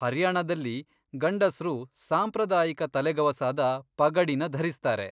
ಹರಿಯಾಣದಲ್ಲಿ ಗಂಡಸ್ರು ಸಾಂಪ್ರದಾಯಿಕ ತಲೆಗವಸಾದ ಪಗಡಿನ ಧರಿಸ್ತಾರೆ.